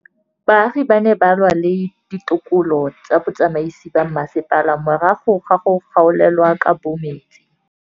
Baagi ba ne ba lwa le ditokolo tsa botsamaisi ba mmasepala morago ga go gaolelwa kabo metsi